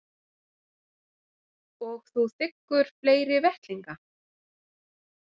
Og þú þiggur fleiri vettlinga?